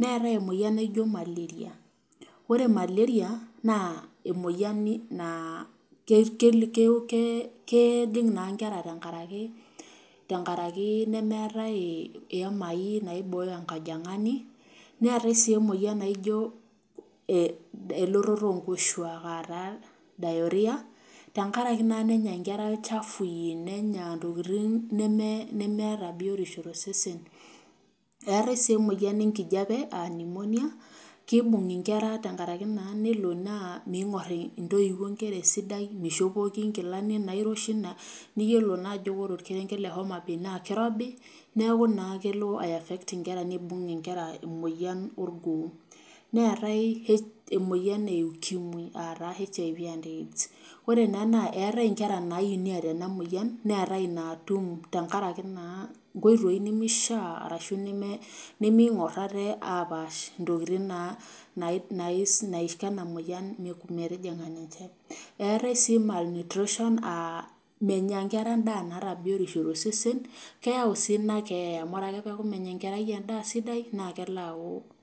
neetai emoyian niijoo maleria. Ore maleria naa emoyian naa keejing naa nkera tenkaraki nemeetia iimai naibooyo enkajangani. Neetai sii emoyian naijio elototo oonkoshuak diahria tenkaraki naa nenya nkera ilchafui nenya intokitin nemeeta biotisho tosesen. Eetaei sii emoyian enkijape aan Pneumonia keibung inkera tenkaraki naa nemeingor intoiwuo inkera esidai, meishopoki inkilani nairoshi niyiolo naa ajo ore orkerenket le Homa bay naa keirobi neaku naa kelo aiafect inkera neibung nkera emoyian orgoo. Neetai emoyian e ukimi aataa HIV/AIDS ore ena naa eetea inkera naini eeta ena moyian, neetai inaatum tenkaraki naa nkoitoi nemeishaa nemeingor ate aapash ntokitin naa naikoenamoyian metijing ninche. Eetae sii malnutrition aaa menya nkera nemeeta biotisho tosesen. Keyau sii inakeeya amu ore ake peeku menya enkerai endaa sidai naa kelo aku